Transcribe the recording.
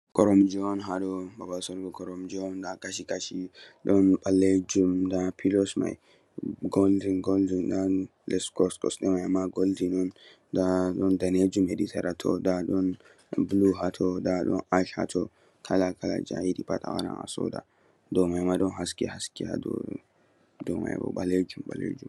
Koromje on haɗo babal sorugo koromje on nda Kashi Kashi Don ɓalejum nda pillows mai goldin goldin on less kosɗe mai goldin o nda Don danejum hedi sera toh nda don bulu hato nda Don ash dou mai Don haske dou mai Ma Don ɓalejum.